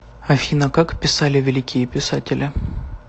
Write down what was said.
афина как писали великие писатели